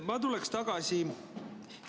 Ma tuleks tagasi ...